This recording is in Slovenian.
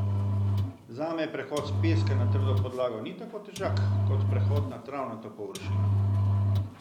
Zame prehod s peska na trdo podlago ni tako težak kot prehod na travnato površino.